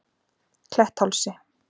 Kletthálsi